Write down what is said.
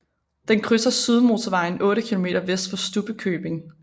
Den krydser Sydmotorvejen 8 km vest for Stubbekøbing